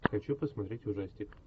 хочу посмотреть ужастик